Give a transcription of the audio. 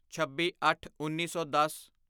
ਛੱਬੀਅੱਠਉੱਨੀ ਸੌ ਦਸ